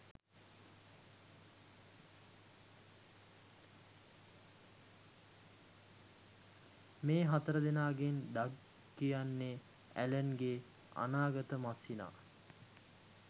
මේ හතරදෙනාගෙන් ඩග් කියන්නේ ඇලන්ගේ අනාගත මස්සිනා